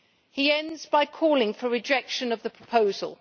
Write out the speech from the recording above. He ends by calling for rejection of the proposal.